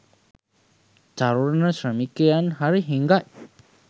තරුණ ශ්‍රමිකයින් හරි හිඟයි